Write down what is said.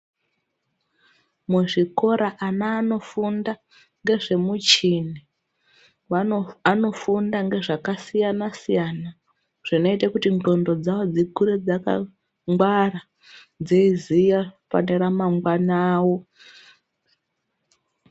Muzvikora ana anofunda ngezve muchhini, anofunda ngezvakasiyana-siyana, zvinoita kuti ndxondo dzawo dzikure dzaka ngwara dzeiziya, pane ramangwana awo.